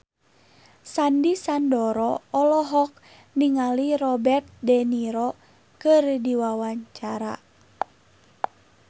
Sandy Sandoro olohok ningali Robert de Niro keur diwawancara